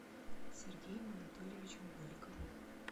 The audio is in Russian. сергеем анатольевичем голиковым